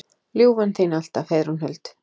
Ljúfan þín alltaf, Heiðrún Huld.